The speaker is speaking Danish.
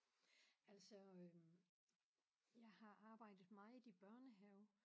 Altså øh jeg har arbejdet meget i børnehave